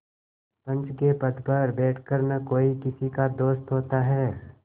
पंच के पद पर बैठ कर न कोई किसी का दोस्त होता है